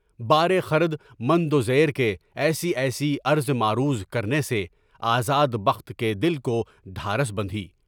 بارے خردمند وزیر کے ایسی ایسی عرض معروض کرنے سے آزاد بخت کے دل کو ڈھارس بندھی۔